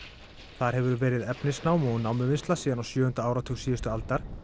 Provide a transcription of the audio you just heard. þar hefur verið efnisnám og námuvinnsla síðan á sjöunda áratug síðustu aldar